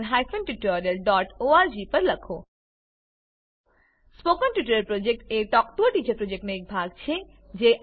spoken tutorial project a talk to a teacher પ્રોજક્ટનો એક ભાગ છે